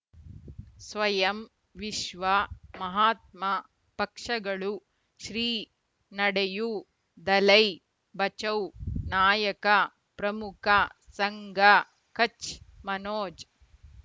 ಸ್ವಯಂ ವಿಶ್ವ ಮಹಾತ್ಮ ಪಕ್ಷಗಳು ಶ್ರೀ ನಡೆಯೂ ದಲೈ ಬಚೌ ನಾಯಕ ಪ್ರಮುಖ ಸಂಘ ಕಚ್ ಮನೋಜ್